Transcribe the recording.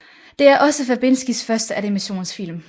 Det er også Verbinskis første animationsfilm